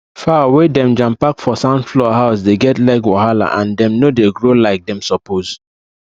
fowl wey dem jampack for sand floor house dey get leg wahala and dem no dey grow like dem suppose